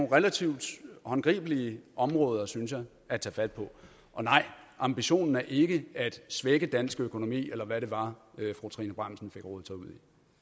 relativt håndgribelige områder synes jeg at tage fat på og nej ambitionen er ikke at svække dansk økonomi eller hvad det var fru trine bramsen fik rodet sig ud